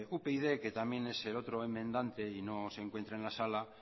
upyd que también es el otro enmendante y no se encuentra en la sala